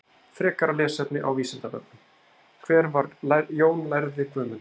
Frekara lesefni á Vísindavefnum: Hver var Jón lærði Guðmundsson?